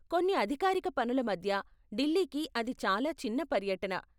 కొన్ని అధికారిక పనుల మధ్య ఢిల్లీకి అది చాలా చిన్న పర్యటన.